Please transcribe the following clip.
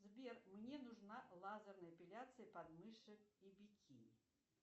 сбер мне нужна лазерная эпиляция подмышек и бикини